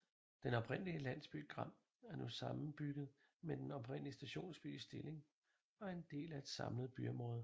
Den oprindelige landsby Gram er nu sammenbygget med den oprindelige stationsby Stilling og en del af et samlet byområde